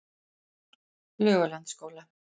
Laugalandsskóla